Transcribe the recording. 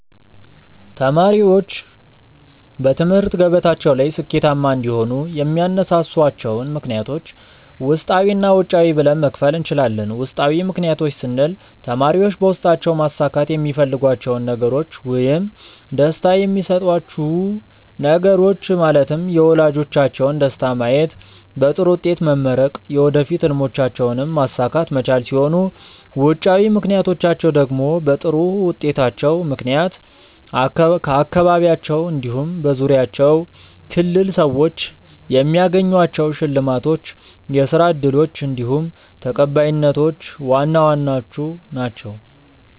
ተማሪዎች በትምህርት ገበታቸው ላይ ስኬታማ እንዲሆኑ የሚያነሳሷቸውን ምክንያቶች ውስጣዊ እና ውጫዊ ብለን መክፈል እንችላለን። ውስጣዊ ምክንያቶች ስንል ተማሪዎች በውስጣቸው ማሳካት የሚፈልጓቸውን ነገሮች ውይም ደስታ የሚሰጧቹው ነገሮች ማለትም የወላጆቻቸውን ደስታ ማየት፣ በጥሩ ውጤት መመረቅ፣ የወደፊት ህልሞቻቸውንም ማሳካት መቻል ሲሆኑ ውጫዊ ምክንያቶቻቸው ደግሞ በጥሩ ውጤታቸው ምክንያት ከአካባቢያቸው እንዲሁም በዙሪያቸው ክልል ሰዎች የሚያገኟቸው ሽልማቶች፣ የስራ እድሎች እንዲሁም ተቀባይነቶች ዋና ዋናዎቹ ናችው።